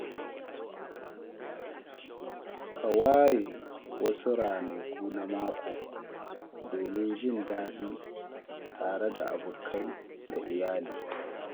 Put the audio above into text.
Ka ware wasu ranaku na mako domin jin daɗi tare da abokai da iyali.